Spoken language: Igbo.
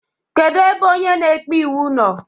Kedu ebe onye na-ekpe iwu nọọ?